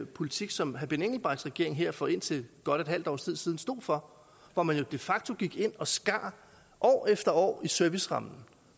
politik som herre benny engelbrechts regering her for indtil godt et halvt års tid siden stod for hvor man jo de facto gik ind og skar år efter år i servicerammen